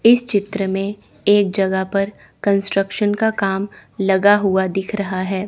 इस चित्र में एक जगह पर कंस्ट्रक्शन का काम लगा हुआ दिख रहा है।